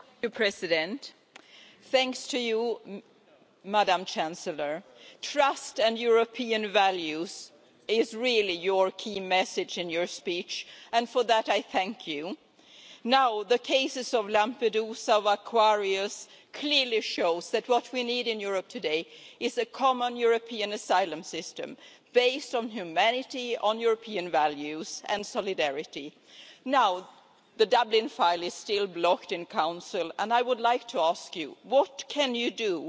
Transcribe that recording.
Mr President, I would like to thank Chancellor Angela Merkel trust and European values are really the key message in your speech, and for that I thank you. The cases of Lampedusa, of Aquarius, clearly show that what we need in Europe today is a common European asylum system based on humanity, on European values and on solidarity. The Dublin file is still blocked in Council, and I would like to ask you, what can you do